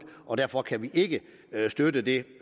og derfor kan vi ikke støtte det